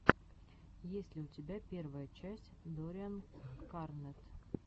есть ли у тебя первая часть доррианкарнетт